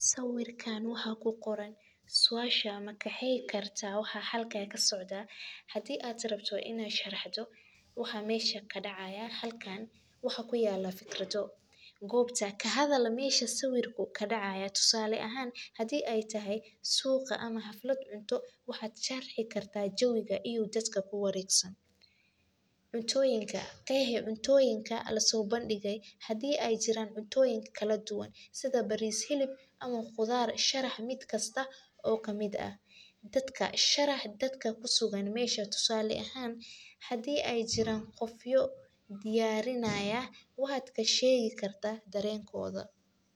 Sawirkan waxaa ku qoran suasha ma qeexi kartaa waxa halkan kasocdo, hadii aad rabto in aad sharaxdo waxa mesha kadacayaa, halkan waxaa ku yala fikrado, gobta kahadal meshu sawirka kadacaya, tusale ahan hadii ee tahay suuqa ama xaflaad cunto, waxaa sharxi kartaa jawiga iyo dadka ku waregsan, cuntoyinka, qeexi cuntoyinka laso bandige hadii ee jiran cuntoyinka kala duwan, sitha baris hilib ama qudhaar, sharax miid kasta oo kamiid ah, dadka, sharax dadka mesha ku sugan, tusala ahan hadii ee jiran qofyo diyarinaya waxaa kashegi kartaa darenkodha.